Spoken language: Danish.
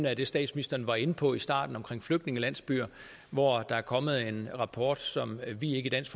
er det statsministeren var inde på i starten om flygtningelandsbyer hvor der er kommet en rapport som vi ikke i dansk